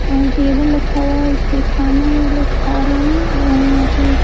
और टेबल रखा हुआ है उसपे खाना ये लोग खा रहे हैं और यहां पे--